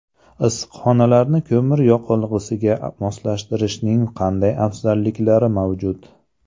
Issiqxonalarni ko‘mir yoqilg‘isiga moslashtirishning qanday afzalliklari mavjud?.